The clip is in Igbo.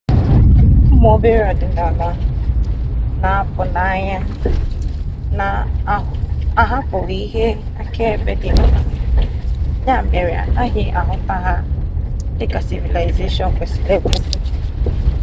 ụmụ obere ọdịnala na-apụ n'anya na-ahapụghị ihe akaebe dị mkpa ya mere anaghị ahụta ha dị ka sivilaịzeshọn kwesịrị ekwesị